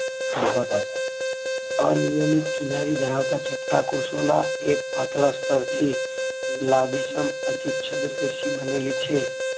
અનિયમિત કિનારી ધરાવતા છટકા કોષોના એક માત્ર સ્ત્રાવ થી લાંબી અધિચ્છદ પેશીબનેલી છે